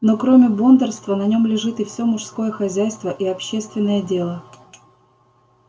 но кроме бондарства на нём лежит и всё мужское хозяйство и общественное дело